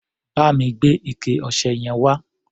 Bá mi gbé ike-ọṣẹ yẹn wá.